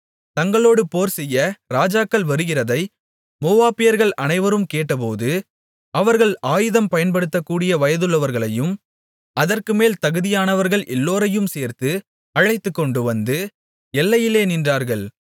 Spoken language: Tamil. தங்களோடு போர்செய்ய ராஜாக்கள் வருகிறதை மோவாபியர்கள் அனைவரும் கேட்டபோது அவர்கள் ஆயுதம் பயன்படுத்தக்கூடிய வயதுள்ளவர்களையும் அதற்குமேல் தகுதியானவர்கள் எல்லோரையும் சேர்த்து அழைத்துக்கொண்டுவந்து எல்லையிலே நின்றார்கள்